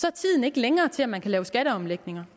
er tiden ikke længere til at man kan lave skatteomlægninger